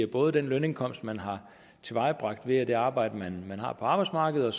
både den lønindkomst man har tilvejebragt via det arbejde man har på arbejdsmarkedet